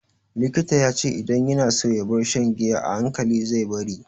Likita ya ce idan yana so ya bar shan giya,a hankali zai bari.